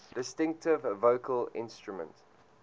distinctive vocal instrument